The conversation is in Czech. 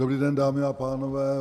Dobrý den, dámy a pánové.